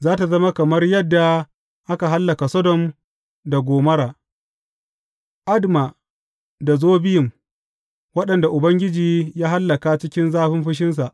Za tă zama kamar yadda aka hallaka Sodom da Gomorra, Adma da Zeboyim, waɗanda Ubangiji ya hallaka cikin zafin fushinsa.